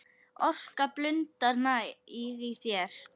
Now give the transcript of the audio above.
Orka blundar næg í þér.